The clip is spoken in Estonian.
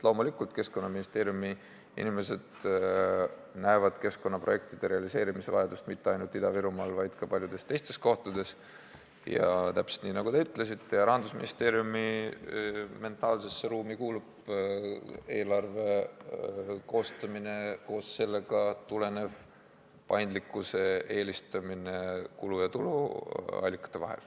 Loomulikult, Keskkonnaministeeriumi inimesed näevad keskkonnaprojektide realiseerimise vajadust mitte ainult Ida-Virumaal, vaid ka paljudes teistes kohtades, täpselt nii, nagu te ütlesite, ja Rahandusministeeriumi mentaalsesse ruumi kuulub eelarve koostamisest tulenev kulu- ja tuluallikate paindlikkuse eelistamine.